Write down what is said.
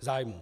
zájmům.